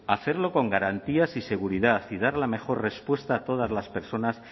hacerlo con garantías y seguridad y dar la mejor respuesta a todas las personas